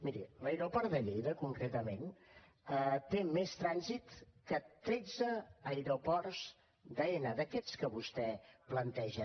miri l’aeroport de lleida concretament té més trànsit que tretze aeroports d’aena d’aquests que vostè planteja